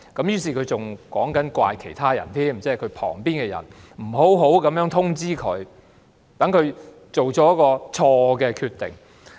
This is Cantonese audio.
於是他更責怪司長身旁的人不好好通知她，令她作出了錯誤決定。